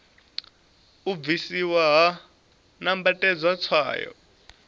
u bvisiwa ha nambatedzwa tswayo